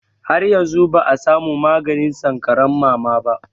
Har yanzu ba a samu maganin sankaran mama ba.